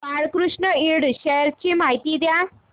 Balkrishna Ind shares ची माहिती द्या